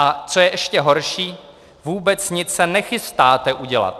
A co je ještě horší, vůbec nic se nechystáte udělat.